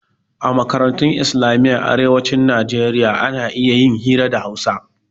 A makarantun islamiyyan arewacin nijeriya ana iya yin hira da hausa